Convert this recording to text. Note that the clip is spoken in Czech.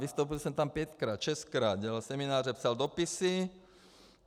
Vystoupil jsem tam pětkrát, šestkrát, dělal semináře, psal dopisy.